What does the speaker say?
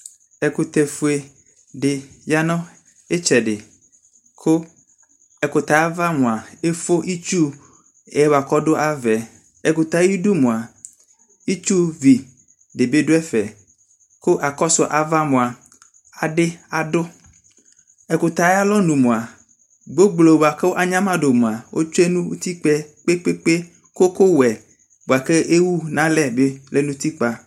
Ɛkutɛfue de ya no ɛtsɛde, ko ɛkutɛ ava moa efo itsu yɛ boako ado avaɛƐkutɛ ayedu moa itsuvi de do ɛfɛ ko akɔso ava moa ade adu Ɛkutɛ alɔnu moa gboblo boako anyama do moa asue no utikpaɛ ko ukuwɛ boako ewu no alɛ be lɛ no utikpa